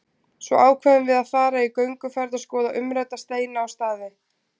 Svo ákveðum við að fara í gönguferð og skoða umrædda steina og staði.